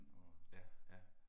Ja, ja